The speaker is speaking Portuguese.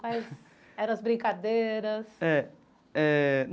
Quais eram as brincadeiras? É é.